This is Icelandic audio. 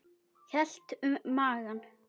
Hélt um magann.